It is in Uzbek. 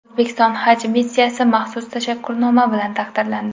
O‘zbekiston haj missiyasi maxsus tashakkurnoma bilan taqdirlandi.